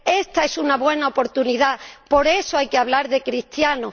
Esta es una buena oportunidad. Por eso hay que hablar de cristianos.